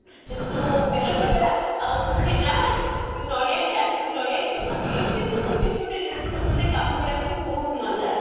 ତୁ ବେଲ ଫଟା ଆଉ ତୁ ଛେନା ଆଣ ତୁ ନଡିଆ କାଟ ତୁ ନଡିଆ କୋର ମାନେ ଏମତିକି ଗୋଟେ ଗୋଟେ responsibility କାମ ଗୁଡାକ ବି ବହୁତ ମଜା